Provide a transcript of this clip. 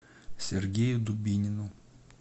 сергею дубинину